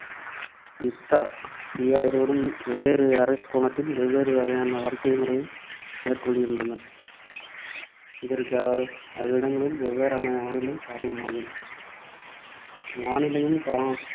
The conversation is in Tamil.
யுக்தா, தியா இருவரும் வெவ்வேறு அரைக் கோளத்தில் வெவ்வேறு வகையான வாழ்க்கை முறை மேற்கொள்கின்றனர். இதற்கு அவ்விடங்களின் வெவ்வேறான வானிலை காரணமாகும் வானிலையும் கால